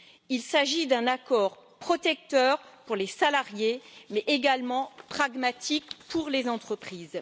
Il s'agit d'un accord protecteur pour les salariés mais également pragmatique pour les entreprises.